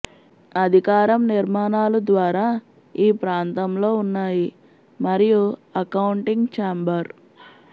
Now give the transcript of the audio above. అధికారం నిర్మాణాలు ద్వారా ఈ ప్రాంతంలో ఉన్నాయి మరియు అకౌంటింగ్ ఛాంబర్